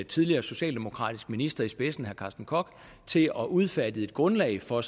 tidligere socialdemokratisk minister i spidsen carsten koch til at udfærdige et grundlag for